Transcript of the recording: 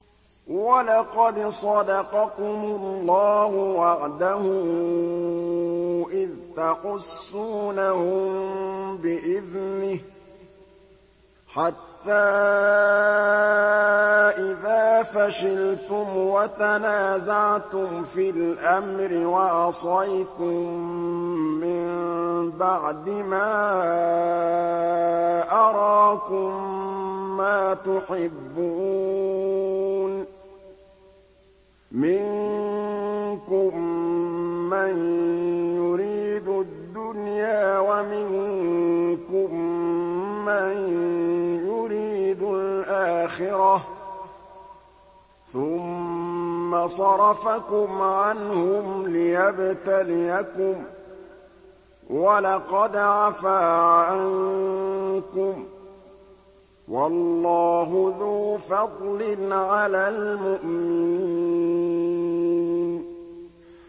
وَلَقَدْ صَدَقَكُمُ اللَّهُ وَعْدَهُ إِذْ تَحُسُّونَهُم بِإِذْنِهِ ۖ حَتَّىٰ إِذَا فَشِلْتُمْ وَتَنَازَعْتُمْ فِي الْأَمْرِ وَعَصَيْتُم مِّن بَعْدِ مَا أَرَاكُم مَّا تُحِبُّونَ ۚ مِنكُم مَّن يُرِيدُ الدُّنْيَا وَمِنكُم مَّن يُرِيدُ الْآخِرَةَ ۚ ثُمَّ صَرَفَكُمْ عَنْهُمْ لِيَبْتَلِيَكُمْ ۖ وَلَقَدْ عَفَا عَنكُمْ ۗ وَاللَّهُ ذُو فَضْلٍ عَلَى الْمُؤْمِنِينَ